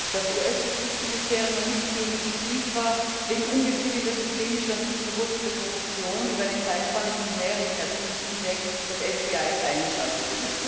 Das US Justizministerium ermittelt gegen die FIFA wegen ungezügelter systemischer und tief verwurzelter Korruption über eine Zeitspanne von mehreren Jahrzehnten hinweg. Das FBI ist eingeschaltet.